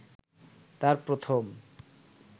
তার প্রথম